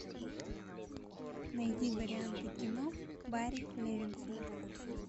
найди варианты кино барри левинсона